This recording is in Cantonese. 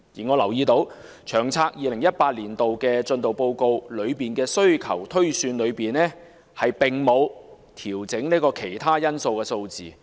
我留意到，在報告的需求推算中，並沒有調整"其他因素"的數字。